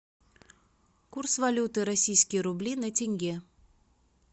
курс валюты российские рубли на тенге